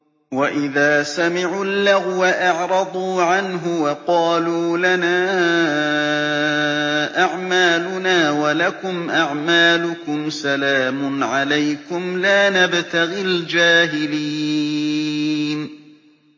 وَإِذَا سَمِعُوا اللَّغْوَ أَعْرَضُوا عَنْهُ وَقَالُوا لَنَا أَعْمَالُنَا وَلَكُمْ أَعْمَالُكُمْ سَلَامٌ عَلَيْكُمْ لَا نَبْتَغِي الْجَاهِلِينَ